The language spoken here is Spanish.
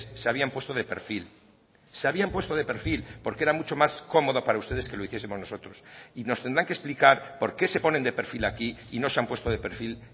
se habían puesto de perfil se habían puesto de perfil porque era mucho más cómoda para ustedes que lo hiciesemos nosotros y nos tendrán que explicar por qué se ponen de perfil aquí y no se han puesto de perfil